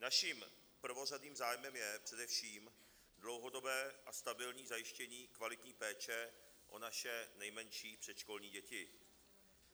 Naším prvořadým zájmem je především dlouhodobé a stabilní zajištění kvalitní péče o naše nejmenší předškolní děti.